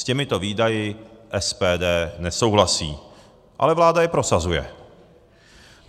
S těmito výdaji SPD nesouhlasí, ale vláda je prosazuje.